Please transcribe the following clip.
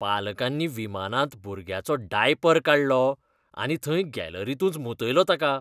पालकांनी विमानांत भुरग्याचो डायपर काडलो आनी थंय गॅलरींतूंच मुतयलो ताका.